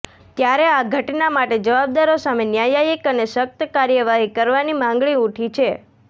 ે ત્યારે આ ઘટના માટે જવાબદારો સામે ન્યાયીક અને સખ્ત કાર્યવાહી કરવાની માંગણી ઉઠી છે